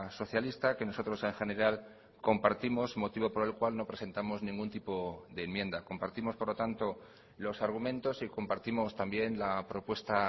socialista que nosotros en general compartimos motivo por el cual no presentamos ningún tipo de enmienda compartimos por lo tanto los argumentos y compartimos también la propuesta